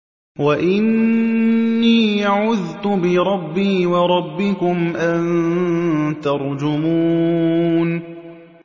وَإِنِّي عُذْتُ بِرَبِّي وَرَبِّكُمْ أَن تَرْجُمُونِ